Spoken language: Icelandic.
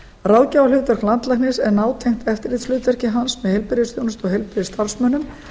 ráðgjafarhlutverk landlæknis er nátengt eftirlitshlutverki hans með heilbrigðisþjónustu og heilbrigðisstarfsmönnum